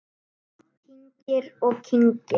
Kyngir og kyngir.